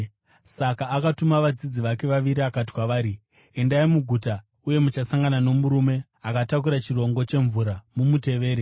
Saka akatuma vadzidzi vake vaviri akati kwavari, “Endai muguta, uye muchasangana nomurume akatakura chirongo chemvura. Mumutevere.